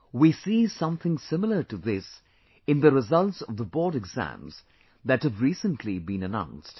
We see something similar to this in the results of the board exams that have recently been announced